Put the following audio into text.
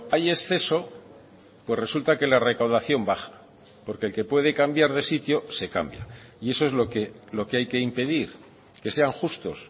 hay exceso pues resulta que la recaudación baja porque el que puede cambiar de sitio se cambia y eso es lo que hay que impedir que sean justos